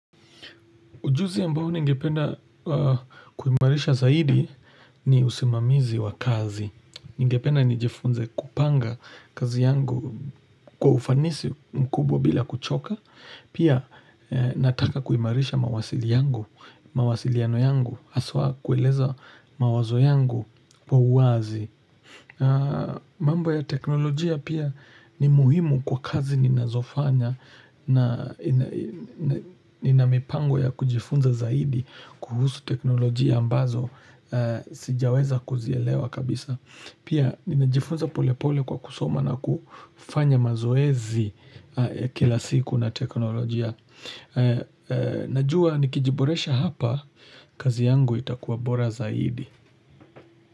Ujuzi ambao ningependa kuimarisha zaidi ni usimamizi wa kazi. Ningependa nijifunze kupanga kazi yangu kwa ufanisi mkubwa bila kuchoka. Pia nataka kuimarisha mawasili yangu, mawasiliano yangu, haswa kueleza mawazo yangu kwa uwazi. Mambo ya teknolojia pia ni muhimu kwa kazi ninazofanya na ina mipango ya kujifunza zaidi kuhusu teknolojia ambazo sijaweza kuzielewa kabisa. Pia ninajifunza pole pole kwa kusoma na kufanya mazoezi kila siku na teknolojia. Najua nikiji boresha hapa kazi yangu itakuwa bora zaidi.